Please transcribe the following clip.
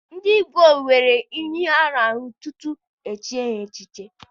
Ndị igwe nwere iyi ha na- aṅụ tutu e chie ha echichi.